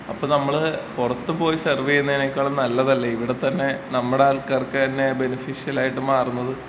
അപ്പൊ നമ്മള് പൊറത്ത് പോയി സെർവിയ്യുന്നിനേക്കാളും നല്ലതല്ലെ ഇവിടത്തന്നെ നമ്മടെ ആള് ക്കാർക്കന്നെ ബെനിഫിഷ്യലായിട്ടും മാറുന്നത്.